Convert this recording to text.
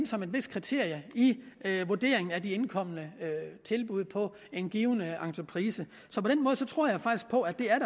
som et vist kriterium i vurderingen af de indkomne tilbud på en given entreprise så på den måde tror jeg på at det er